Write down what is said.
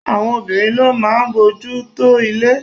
Àwọn obìnrin ló máa ń bójú tó ilé.